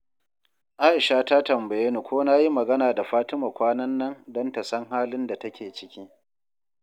Aisha ta tambaye ni ko na yi magana da Fatima kwanan nan don ta san halin da take ciki.